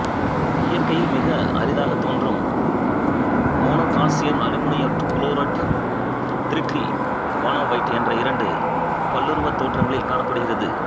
இயற்கையில் மிக அரிதாகத் தோன்றும் மோனோகால்சியம் அலுமினேட்டு குரோடைட்டு திமிட்ரியிவானோவைட்டு என்ற இரண்டு பல்லுருவத் தோற்றங்களில் காணப்படுகிறது